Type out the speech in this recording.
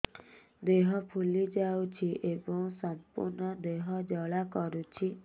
ଦେହ ଫୁଲି ଯାଉଛି ଏବଂ ସମ୍ପୂର୍ଣ୍ଣ ଦେହ ଜ୍ୱାଳା କରୁଛି